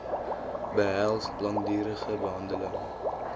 behels langdurige behandeling